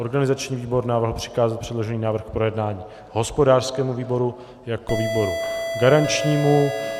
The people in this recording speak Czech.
Organizační výbor navrhl přikázat předložený návrh k projednání hospodářskému výboru jako výboru garančnímu.